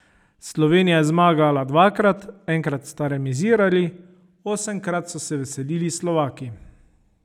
Slovenija je zmagala dvakrat, enkrat sta remizirali, osemkrat so se veselili Slovaki.